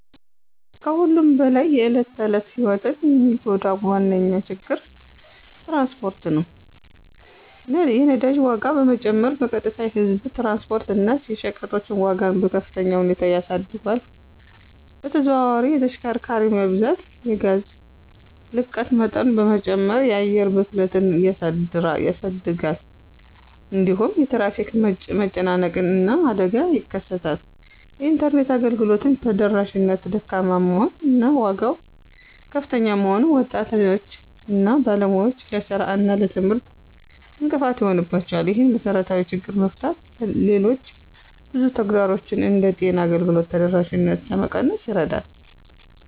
ከሁሉም በላይ የዕለት ተዕለት ሕይወትን የሚጎዳ ዋነኛ ችግር ትራንስፖርት ነው። የነዳጅ ዋጋ መጨመር በቀጥታ የህዝብ ትራንስፖርት እና የሸቀጦች ዋጋን በከፍተኛ ሁኔታ ያሳድጋል። በተዘዋዋሪ የተሽከርካሪ መብዛት የጋዝ ልቀት መጠን በመጨመር የአየር ብክለትን ያሳድጋል። እንዲሁም የትራፊክ መጨናነቅ እና አደጋ ይከሰታል። የኢንተርኔት አገልግሎት ተደራሽነት ደካማ መሆን እና ዋጋው ከፍተኛ መሆኑን ወጣቶች እና ባለሙያዎች ለሥራ እና ለትምህርት እንቅፋት ይሆንባቸዋል። ይህንን መሰረታዊ ችግር መፍታት ሌሎች ብዙ ተግዳሮቶችን እንደ ጤና አገልግሎት ተደራሽነት ለመቀነስ ይረዳል።